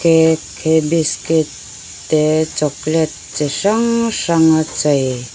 cake he biscuit te chocolate chi hrang hrang a chei--